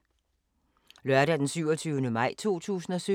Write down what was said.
Lørdag d. 27. maj 2017